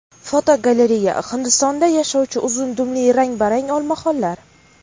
Fotogalereya: Hindistonda yashovchi uzun dumli rang-barang olmaxonlar.